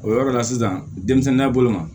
O yɔrɔ la sisan denmisɛnninya bolo ma